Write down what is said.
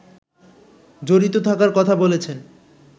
জড়িত থাকার কথা বলেছেন